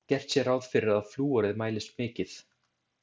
Gert sé ráð fyrir að flúorið mælist mikið.